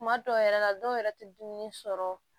Kuma dɔw yɛrɛ la dɔw yɛrɛ te dumuni sɔrɔ